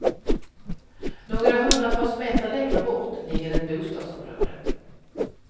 Några hundratals meter längre bort ligger ett bostadsområde.